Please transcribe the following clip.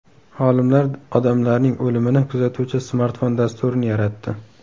Olimlar odamlarning o‘limini kuzatuvchi smartfon dasturini yaratdi.